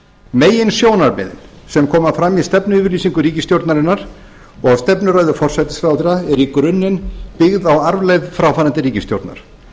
meginsjónarmið sem koma fram í stefnuyfirlýsingu ríkisstjórnarinnar og stefnuræðu forsætisráðherra er í grunninn byggð á arfleifð fráfarandi ríkisstjórnar